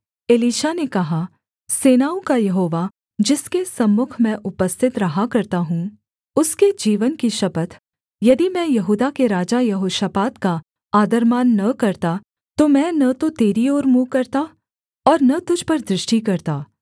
Elisha ने कहा सेनाओं का यहोवा जिसके सम्मुख मैं उपस्थित रहा करता हूँ उसके जीवन की शपथ यदि मैं यहूदा के राजा यहोशापात का आदरमान न करता तो मैं न तो तेरी ओर मुँह करता और न तुझ पर दृष्टि करता